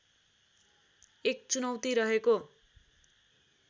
एक चुनौती रहेको